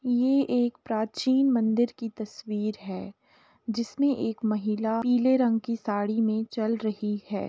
ये एक प्राचीन मंदिर की तस्वीर है जिसमें एक महिला पीले रंग की साड़ी में चल रही है।